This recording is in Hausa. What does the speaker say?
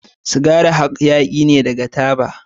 Sigari hayaki ne daga taba.